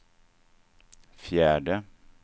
fjärde